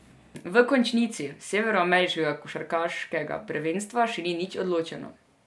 V končnici severnoameriškega košarkarskega prvenstva še nič ni odločeno.